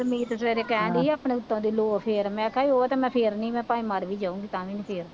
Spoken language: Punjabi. ਗੁਰਮੀਤ ਸਵੇਰੇ ਕਹਿਣ ਡੇਈ ਸੀ ਆਪਣੇ ਹਿੱਸੇ ਦੀ ਲੋਅ ਫੇਰ ਮੈ ਕਿਹਾ ਸੀ ਉਹ ਤਾਂ ਮੈਂ ਫੇਰਨੀ ਮੈਂ ਭਾਵੇਂ ਮਰ ਵੀ ਜਾਊਂ ਤਾਂ ਵੀ ਨਹੀਂ ਫੇਰਦੀ